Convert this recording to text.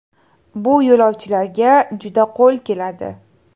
Bu yo‘lovchilarga juda qo‘l keladi.